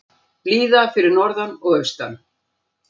Blíða fyrir norðan og austan